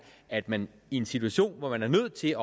at man i en situation hvor man er nødt til at